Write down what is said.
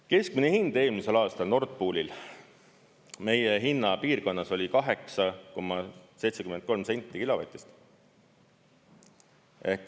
Keskmine hind eelmisel aastal Nord Poolil meie hinnapiirkonnas oli 8,73 senti kilovatt.